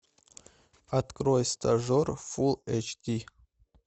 открой стажер фул эйч ди